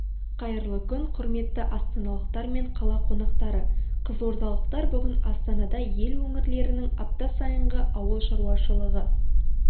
қайырлы күн құрметті астаналықтар мен қала қонақтары қызылордалықтар бүгін астанада ел өңірлерінің апта сайынғы ауыл шаруашылығы